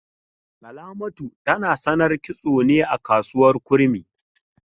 Salamatu tana sanar kitso ne a kasuwar Kurmi.